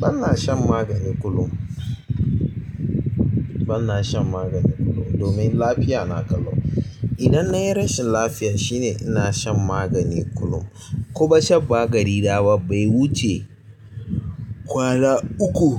Bana shan magani kullum. Bana shan magani kullum domin lafiya na kallo. Idan na yi rashin lafiya shine ina shan magani kullum. Kuma shan magani na ba bai wuce kwana uku,